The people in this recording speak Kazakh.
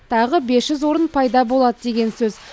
тағы бес жүз орын пайда болады деген сөз